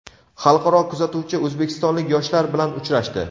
Xalqaro kuzatuvchi o‘zbekistonlik yoshlar bilan uchrashdi!.